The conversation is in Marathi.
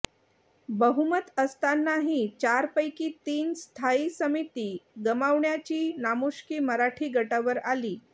बहुमत असतानाही चारपैकी तीन स्थायी समिती गमावण्याची नामुष्की मराठी गटावर आली